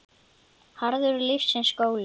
Harður er lífsins skóli.